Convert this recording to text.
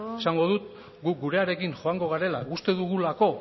eta bueno esango dut gu gurearekin joango garela uste dugulako